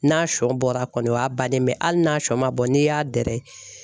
N'a sɔn bɔra kɔni o y'a banen ye, mɛ hali n'a sɔn ma bɔ n'i y'a dɛrɛ